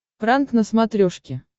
пранк на смотрешке